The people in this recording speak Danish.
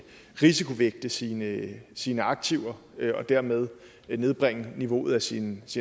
risikovægte sine sine aktiver og dermed nedbringe niveauet af sin